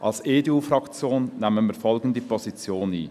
Als EDU-Fraktion nehmen wir folgende Position ein: